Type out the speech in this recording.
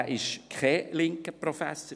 Er war eindeutig kein linker Professor.